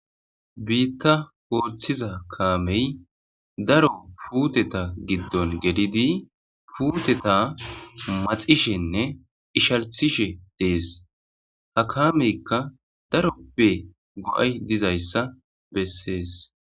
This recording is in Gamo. Biitta hooththiza kaamey daro puuteta giddon gelidi puuteta maxishenne ishalthishe dees ha kaameykka daroppe go'ay dizayssa bessees.